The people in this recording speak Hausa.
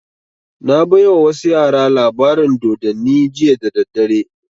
Na baiwa wasu yara labarin dodanni jiya da daddare